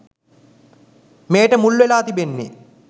මෙයට මුල්වෙලා තිබෙන්නේ.